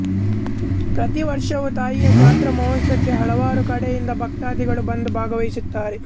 ಪ್ರತಿ ವರ್ಷವೂ ತಾಯಿಯ ಜಾತ್ರಾ ಮಹೋತ್ಸವಕ್ಕೆ ಹಲವಾರು ಕಡೆಯಿಂದ ಭಕ್ತಾದಿಗಳು ಬಂದು ಭಾಗವಹಿಸುತ್ತಾರೆ